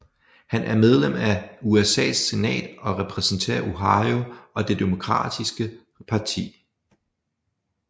Han er medlem af USAs senat og repræsenterer Ohio og Det demokratiske parti